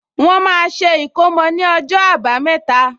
Wọ́n máa ṣe ìkómò ní ọjọ́ àbámẹ́ta